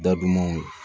Dadumanw